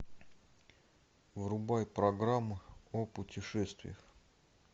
врубай программу о путешествиях